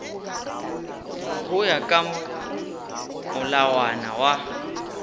go ya ka molawana wa